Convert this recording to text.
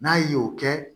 N'a ye o kɛ